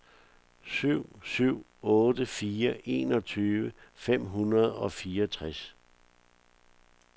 syv syv otte fire enogtyve fem hundrede og fireogtres